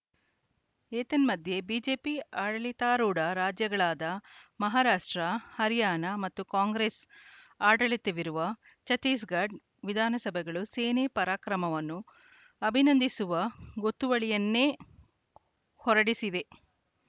ಏತನ್ಮಧ್ಯೆ ಬಿಜೆಪಿ ಆಡಳಿತಾರೂಢ ರಾಜ್ಯಗಳಾದ ಮಹಾರಾಷ್ಟ್ರ ಹರ್ಯಾಣ ಮತ್ತು ಕಾಂಗ್ರೆಸ್‌ ಆಡಳಿತವಿರುವ ಛತ್ತೀಸ್‌ಗಢ ವಿಧಾನಸಭೆಗಳು ಸೇನೆ ಪರಾಕ್ರಮವನ್ನು ಅಭಿನಂದಿಸುವ ಗೊತ್ತುವಳಿಯನ್ನೇ ಹೊರಡಿಸಿವೆ